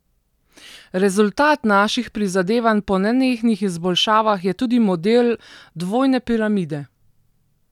Rezultat naših prizadevanj po nenehnih izboljšavah je tudi Model dvojne piramide.